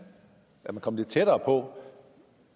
kommet lidt tættere på